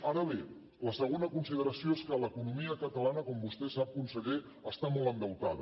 ara bé la segona consideració és que l’economia catalana com vostè sap conseller està molt endeutada